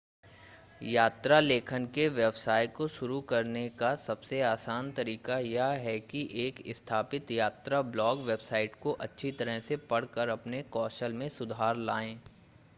यात्रा लेखन के व्यवसाय को शुरू करने का सबसे आसान तरीका यह है कि एक स्थापित यात्रा ब्लॉग वेबसाइट को अच्छी तरह से पढ़कर अपने कौशल में सुधार लाएं